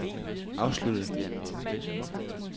afsluttet